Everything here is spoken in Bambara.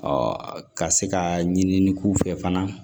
ka se ka ɲini k'u fɛ fana